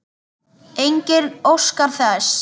Enginn óskar þess.